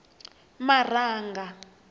marhanga